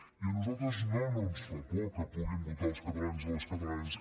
i a nosaltres no no ens fa por que puguin votar els catalans i les catalanes